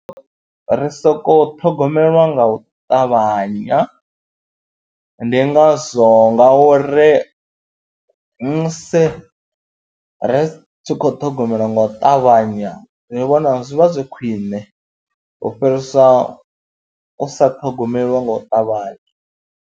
Ri sokou ṱhogomelwa nga u ṱavhanya ndi ngazwo ngauri musi ri tshi khou ṱhogomelwa nga u ṱavhanya zwi vhona zwi vha zwi khwiṋe u fhirisa u sa ṱhogomelwa nga u ṱavhanya.